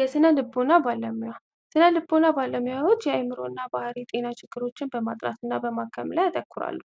የስነልቦና ባለሙያ የስነልቦና ባለሙያዎች በአዕምሮ እና ባህሪ ጤና ችግሮች ላይ በማጥናት እና በማከም ላይ ያተኩራሉ።